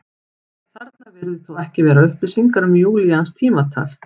Þarna virðast þó ekki vera upplýsingar um júlíanskt tímatal.